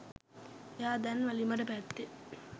එයා දැන් වැලිමඩ පැත්තේ